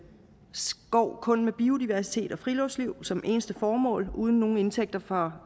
skov kun med biodiversitet og friluftsliv som eneste formål og uden nogen indtægter fra